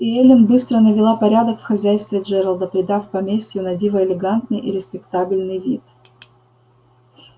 и эллин быстро навела порядок в хозяйстве джералда придав поместью на диво элегантный и респектабельный вид